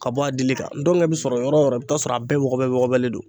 Ka bɔ a dili kan dɔngɛ bi sɔrɔ yɔrɔ o yɔrɔ i bi taa sɔrɔ a bɛɛ wɔgɔbɛ bɔgɔlen don